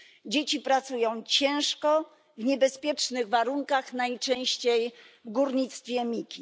Dzieci pracują ciężko, w niebezpiecznych warunkach, najczęściej w górnictwie miki.